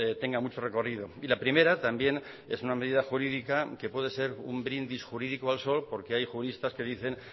tenga mucho recorrido y la primera también es una medida jurídica que puede ser un brindis jurídico al sol porque hay juristas que dicen